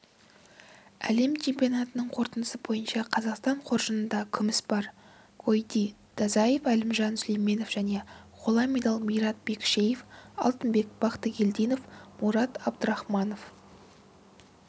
әлем чемпионатының қорытындысы бойынша қазақстан қоржынында күміс бар гойти дазаев әлімжан сүлейменов және қола медаль мират бекішев алтынбек бақтыгелдинов мурад абдурахманов